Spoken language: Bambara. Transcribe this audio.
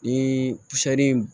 Ni